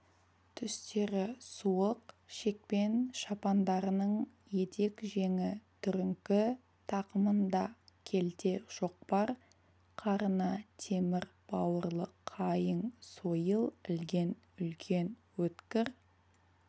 түстері суық шекпен-шапандарының етек-жеңі түріңкі тақымында келте шоқпар қарына темір бауырлы қайың сойыл ілген үлкен өткір